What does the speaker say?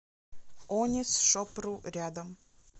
онисшопру рядом